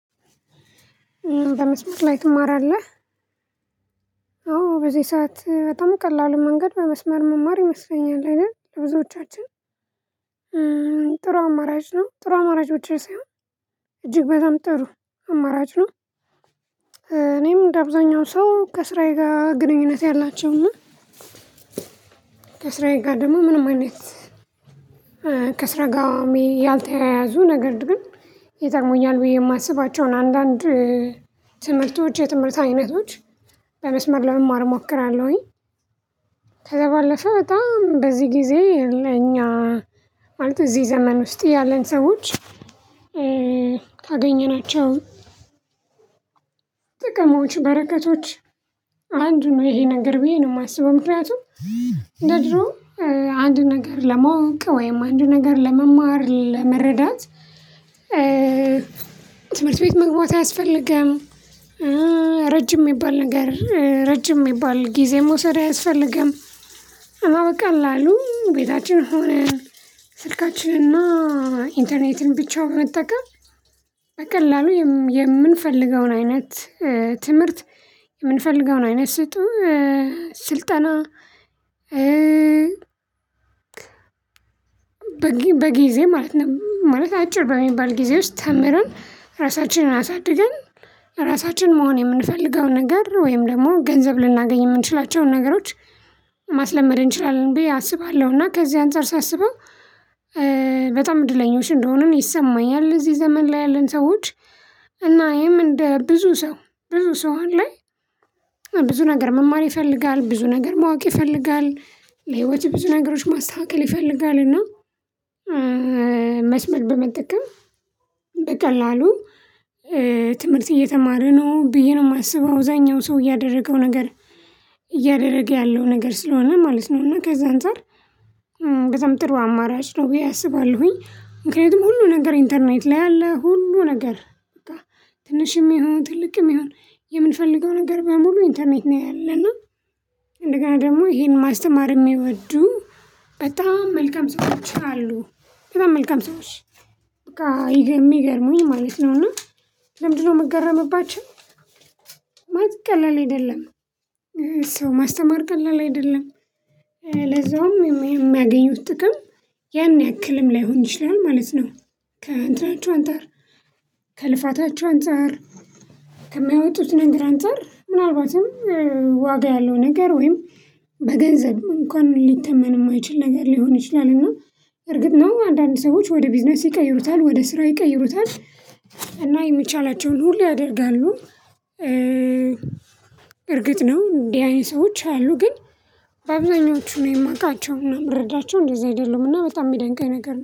በመስመር ላይ ትማራለህ? አዎ በዚህ ሰዓት በጣም ቀላሉ መንገድ በመስመር መማር ይመስለኛል አይደል ለብዙዎቻችን ጥሩ አማራጭ ነው ጥሩ አማራጮችን ሳይሆን እጅግ በጣም ጥሩ አማራጭ ነው። እኔም እንደ አብዛኛው ሰው ከሥራዬ ጋር ግንኙነት ያላቸውና ከሥራዬ ጋር ደግሞ ምንም አይነት ከስራ ሚ ጋር ያልተያያዙ ነገር ግን ይጠቅሙኛል ብዬ የማስባቸውን አንዳንድ ትምህርቶች የትምህርት አይነቶች በመስመር ለመማር እሞክራለሁኝ። ከዛ ባለፈ በጣም በዚህ ጊዜ እኛ ማለት እዚህ ዘመን ውስጥ ያለን ሰዎች ካገኘናቸው ጥቅሞች በረከቶች አንዱ ነው ይሄ ነገር ብዬ ነው የማስበው ምክንያቱም እንደ ድሮ አንድ ነገር ለማወቅ ወይም አንድ ነገር ለመማር ለመረዳት ትምህርት ቤት መግባት አያስፈልግም። ረጅም የሚባል ነገር ረጅም የሚባል ጊዜ መውሰድ አያስፈልግም። እና በቀል ላሉ ቤታችን ሆነን ስልካችንና ኢንተርኔትን ብቻውን መጠቀም በቀላሉ የም የምንፈልገውን አይነት ትምህርት የምንፈልገውን አይነት ስጡ ስልጠና በጊዜ ማለት ነው። ማለት አጭር በሚባል ጊዜ ውስጥ ተምረን ራሳችንን አሳድገን ራሳችን መሆን የምንፈልገውን ነገር ወይም ደግሞ ገንዘብ ልናገኝ የምንችላቸውን ነገሮች ማስለመድ እንችላለን ብዬ አስባለሁ። እና ከዚህ አንፃር ሳስበው በጣም እድለኞች እንደሆኑን ይሰማኛል እዚህ ዘመን ላይ ያለን ሰዎች እና ይሄም እንደ ብዙ ሰው ብዙ ሰው አሁን ላይ ብዙ ነገር መማር ይፈልጋል። ብዙ ነገር ማወቅ ይፈልጋል ለህይወት ብዙ ነገሮች ማስተካከል ይፈልጋል እና መስመር በመጠቀም በቀላሉ ትምህርት እየተማርን ነው ብዬ ነው የማስበው አብዛኛው ሰው እያደረገው ነገር እያደረገ ያለው ነገር ስለሆነ ማለት ነው። እና ከዛ አንፃር ከዛም ጥሩ አማራጭ ነው ብዬ አስባለሁኝ። ምክንያቱም ሁሉ ነገር ኢንተርኔት ላይ አለ ሁሉ ነገር በቃ ትንሽም ይሁን ትልቅም ይሁን የምንፈልገው ነገር በሙሉ ኢንተርኔት ነው። ያለ እና እንደገና ደግሞ ይሄን ማስተማር የሚወዱ በጣም መልካም ሰዎች አሉ በጣም መልካም ሰዎች በቃ ይገ የሚገርመኝ ማለት ነው። እና ለምንድንነው የምገረምባቸው ማለት ቀላል አይደለም። ሰው ማስተማር ቀላል አይደለም። ለዛውም የሚያገኙት ጥቅም ያን ያክልም ላይሆን ይችላል ማለት ነው። ከአንትኖቹ አንፃር ከልፋታቸው አንፃር ከሚያወጡት ነገር አንፃር ምናልባትም ዋጋ ያለው ነገር ወይም በገንዘብ እንኳን ሊተመን የማይችል ነገር ሊሆን ይችላል። እና እርግጥ ነው አንዳንድ ሰዎች ወደ ቢዝነስ ይቀይሩታል ወደ ስራ ይቀይሩታል እና የሚቻላቸውን ሁሉ ያደርጋሉ። እርግጥ ነው እንዲህ አይነት ሰዎች አሉ ግን አብዛኞቹን የማውቃቸውና የምረዳቸው እንደዛ አይደሉም። እና በጣም የሚያደንቀኝ ነገር ነው